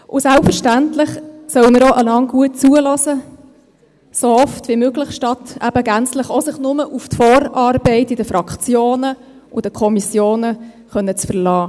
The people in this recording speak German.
– Und selbstverständlich sollen wir einander auch gut zuhören, so oft wie möglich, statt sich gänzlich auf die Vorarbeit in den Fraktionen und Kommissionen zu verlassen.